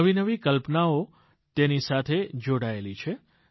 નવી નવી કલ્પનાઓ તેની સાથે જોડાયેલી છે